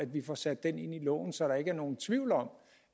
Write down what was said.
vi får sat den ind i loven så der ikke er nogen tvivl om